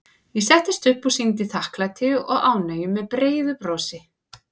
Ég settist upp og sýndi þakklæti og ánægju með breiðu brosi.